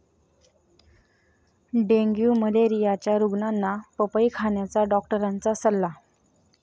dengue मलेरियाच्या रुग्णांना पपई खाण्याचा डॉक्टरांचा सल्ला